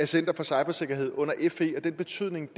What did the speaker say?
center for cybersikkerhed under fe og af den betydning